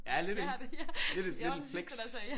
Ja lidt ik? Lidt et lidt et flex